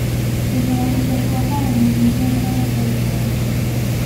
Bilaabidda kooxaha midnimada aad bay u caawin kartaa.